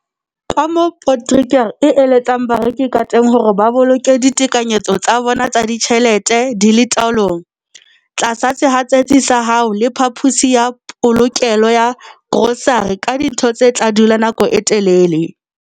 Kamoo Potgieter a eletsang bareki kateng hore ba boloke ditekanyetso tsa bona tsa ditjhelete di le taolong- Tlatsa sehatsetsi sa hao le phaposi ya polokelo ya grosare ka dintho tse tla dula nako e telele.